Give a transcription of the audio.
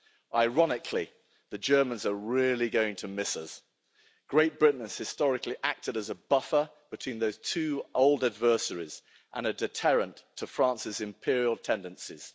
Ironically, the Germans are really going to miss us. Great Britain has historically acted as a buffer between those two old adversaries and a deterrent to France's imperial tendencies.